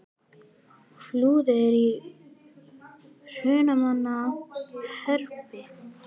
Flúðir er í Hrunamannahreppi.